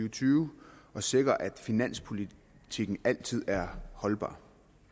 og tyve og sikre at finanspolitikken altid er holdbar